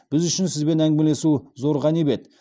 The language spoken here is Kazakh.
біз үшін сізбен әңгімелесу зор ғанибет